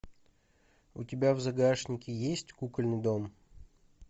у тебя в загашнике есть кукольный дом